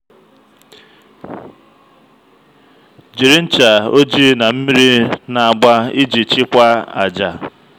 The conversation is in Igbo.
jiri ncha ojii na mmiri na-agba iji chịkwaa àjà.